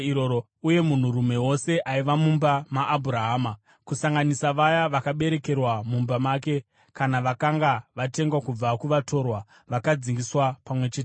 Uye munhurume wose aiva mumba maAbhurahama, kusanganisa vaya vakaberekerwa mumba make kana vakanga vatengwa kubva kuvatorwa, vakadzingiswa pamwe chete naye.